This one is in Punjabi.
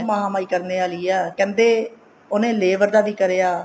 ਮਹਾ ਮਾਈ ਕਰਨੇ ਆਲੀ ਆ ਕਹਿੰਦੇ ਉਹਨੇ labor ਦਾ ਵੀ ਕਰਿਆ